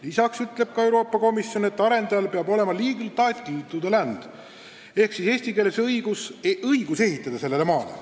Lisaks ütleb Euroopa Komisjon, et arendajal peab olema legal title to the land ehk eesti keeles õigus ehitada sellele maale.